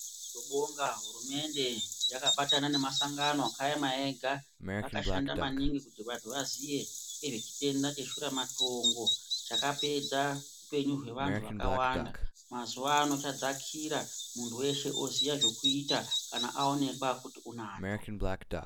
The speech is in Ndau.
Tobonga hurumende yakabatana nemasangano yakaema ega akashanda maningi kuti vantu vaziye ngezvechitenda che shuramatongo chakapedza hupenyu hwevantuu vakawanda mazuwano chadzakira muntu weshe oziya zvekuita kana aonekwa kuti unacho.